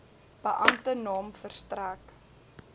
beampte naam verstrek